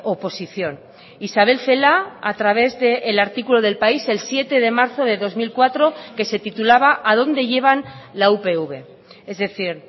oposición isabel celaá a través de el artículo de el país el siete de marzo de dos mil cuatro que se titulaba a dónde llevan la upv es decir